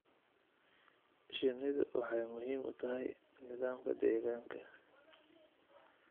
Shinnidu waxay muhiim u tahay nidaamka deegaanka.